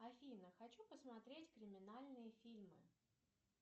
афина хочу посмотреть криминальные фильмы